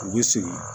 U bɛ segin